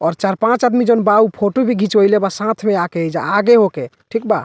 और चार पाँच अदमी जोन बा उ फोटो भी घींचवइले बा साथ में आके एइजा आगे होके ठीक बा।